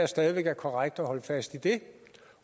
stadig væk er korrekt at holde fast i det